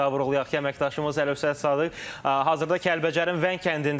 Bir daha vurğulayaq ki, əməkdaşımız Əlövsət Sadıq hazırda Kəlbəcərin Vəng kəndindədir.